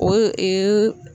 O